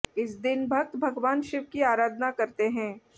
इस दिन भक्त भगवान शिव की आरधना करते हैं